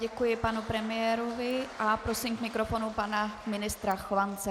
Děkuji panu premiérovi a prosím k mikrofonu pana ministra Chovance.